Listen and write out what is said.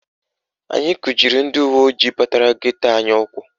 Anyị kujiri ndị uweojii batara geto anyị ụkwụ